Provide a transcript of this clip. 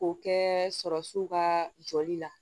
K'o kɛ sɔrɔw ka jɔli la